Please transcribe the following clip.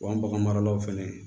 Wa bagan maralaw fɛnɛ